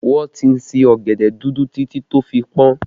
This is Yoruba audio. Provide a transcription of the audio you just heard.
Wọn ti sin ọ̀gẹ̀dẹ̀ dúdú títí tó fi pọn